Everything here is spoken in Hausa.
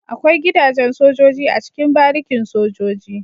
Akwai gida jen sojoji a cikin barikin sojoji